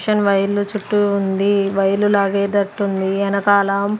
Machine wire లు చుట్టి ఉంది. వైర్ లు లాగేటట్టు ఉంది ఎనకాల.